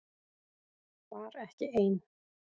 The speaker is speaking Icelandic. Var ekki ein